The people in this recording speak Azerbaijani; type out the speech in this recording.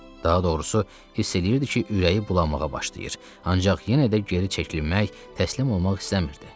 Daha doğrusu hiss eləyirdi ki, ürəyi bulanmağa başlayır, ancaq yenə də geri çəkilmək, təslim olmaq istəmirdi.